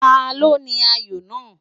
Ta ló ní ayò náà.?